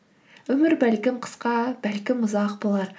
өмір бәлкім қысқа бәлкім ұзақ болар